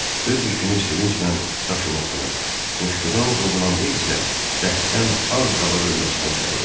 Öz yükünü sevinclə daşımasına, qoşqudan qovulanda isə dərddən az qala ölməsinə səbəb olurdu.